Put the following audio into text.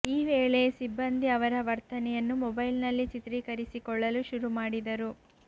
ಈ ವೇಳೆ ಸಿಬ್ಬಂದಿ ಅವರ ವರ್ತನೆಯನ್ನು ಮೊಬೈಲ್ನಲ್ಲಿ ಚಿತ್ರೀಕರಿಸಿಕೊಳ್ಳಲು ಶುರು ಮಾಡಿದರು